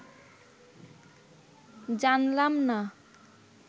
জানলাম না